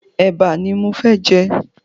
Ẹ̀bà ni mo fẹ́ jẹ